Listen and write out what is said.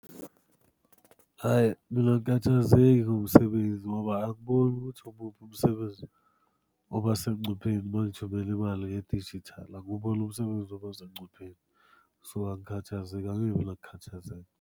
Hhayi mina angikhathazeki ngomsebenzi ngoba angiboni ukuthi umuphi umsebenzi oba sengcupheni mangithumela imali ngedijithali, anguboni umsebenzi oba sengcupheni. So angikhathazeki, angibi nokukhathazeka.